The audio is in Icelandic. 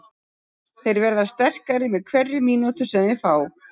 Þeir verða sterkari með hverri mínútu sem þeir fá.